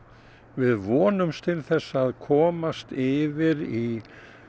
við vonumst til að komast yfir í